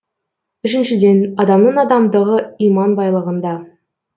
үшіншіден адамның адамдығы иман байлығында